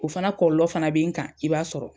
O fana kɔɔlɔ fana be n kan i b'a sɔrɔ.